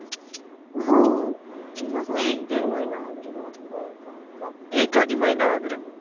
हो बघू एक दीड महिना वगेरे हो का एखाद महिना वगेरे